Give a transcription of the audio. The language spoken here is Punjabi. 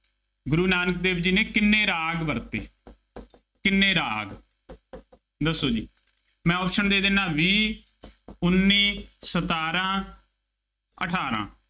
ਗੁਰੂ ਨਾਨਕ ਦੇਵ ਜੀ ਨੇ ਕਿੰਨੇ ਰਾਗ ਵਰਤੇ, ਕਿੰਨੇ ਰਾਗ, ਦੱਸੋ ਜੀ, ਮੈਂ option ਦੇ ਦਿੰਦਾ, ਵੀਹ, ਉੱਨੀ, ਸਤਾਰਾਂ, ਅਠਾਰਾਂ,